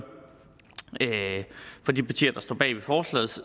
for de partier der står bag forslaget